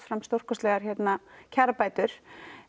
stórkostlegar kjarabætur